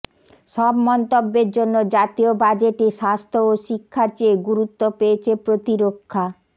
সব মন্তব্যের জন্য জাতীয় বাজেটে স্বাস্থ্য ও শিক্ষার চেয়ে গুরুত্ব পেয়েছে প্রতিরক্ষা